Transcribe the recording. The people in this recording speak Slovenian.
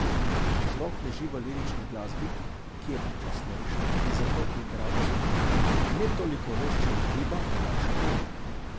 Vzrok leži v lirični glasbi, ki je počasnejša in zato igralcu, ne toliko veščemu giba, olajša delo.